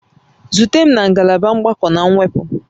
Zute m na ngalaba mgbakọ na mwepụ